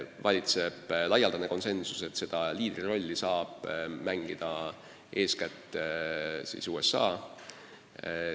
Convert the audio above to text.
Valitseb laialdane konsensus, et seda liidrirolli saab mängida eeskätt USA.